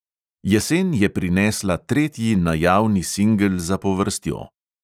Jesen je prinesla tretji najavni singel zapovrstjo.